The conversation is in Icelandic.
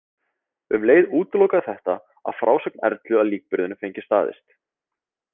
Um leið útilokaði þetta, að frásögn Erlu af líkburðinum fengi staðist.